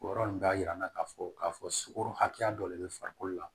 O yɔrɔ nin b'a jira n'a k'a fɔ k'a fɔ sukaro hakɛya dɔ le bɛ farikolo la